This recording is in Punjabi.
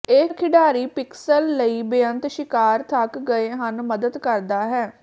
ਇਹ ਖਿਡਾਰੀ ਪਿਕਸਲ ਲਈ ਬੇਅੰਤ ਸ਼ਿਕਾਰ ਥੱਕ ਗਏ ਹਨ ਮਦਦ ਕਰਦਾ ਹੈ